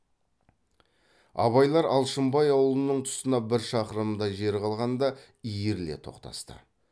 абайлар алшынбай аулының тұсына бір шақырымдай жер қалғанда иіріле тоқтасты